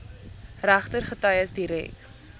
regter getuies direk